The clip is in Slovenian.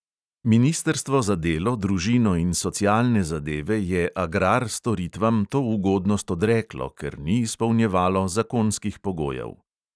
Ministrstvo za delo, družino in socialne zadeve je agrar-storitvam to ugodnost odreklo, ker ni izpolnjevalo zakonskih pogojev.